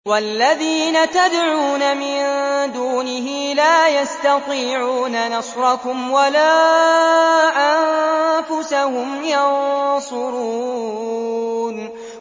وَالَّذِينَ تَدْعُونَ مِن دُونِهِ لَا يَسْتَطِيعُونَ نَصْرَكُمْ وَلَا أَنفُسَهُمْ يَنصُرُونَ